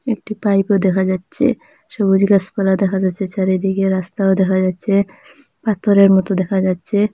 একটি পাইপও দেখা যাচ্ছে সবুজ গাসপালা দেখা যাসসে চারিদিকে রাস্তাও দেখা যাচ্ছে পাথরের মতো দেখা যাচ্ছে।